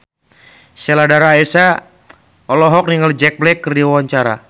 Sheila Dara Aisha olohok ningali Jack Black keur diwawancara